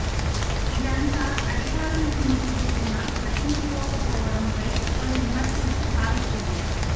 ఇదంతా అధికారుల ముందు జరుగుతున్న పట్టించుకోకపోవడం పై పలు విమర్శలకు తావిస్తుంది